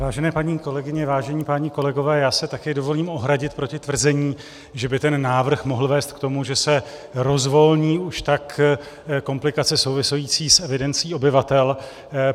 Vážené paní kolegyně, vážení páni kolegové, já se také dovolím ohradit proti tvrzení, že by ten návrh mohl vést k tomu, že se rozvolní už tak komplikace související s evidencí obyvatel.